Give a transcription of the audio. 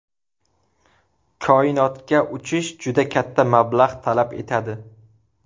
Koinotga uchish juda katta mablag‘ talab etadi.